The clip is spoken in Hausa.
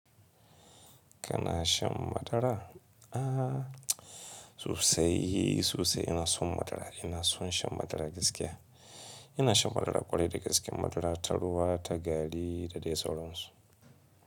Kana shan madara? A sosai sosai ma ina son madara, ina son shan madara gaskiya. Ina shan madara ƙwarai da gaske madara ta ruwa, ta gari da dai sauran su.